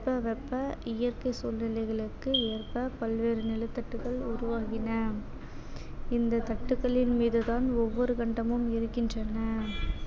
தட்பவெப்ப இயற்கை சூழ்நிலைகளுக்கு ஏற்ப பல்வேறு நிலத்தட்டுக்கள் உருவாகின இந்த தட்டுக்களின் மீதுதான் ஒவ்வொரு கண்டமும் இருக்கின்றன